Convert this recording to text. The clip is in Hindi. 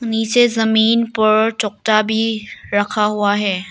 नीचे जमीन पर चोकटा भी रखा हुआ है।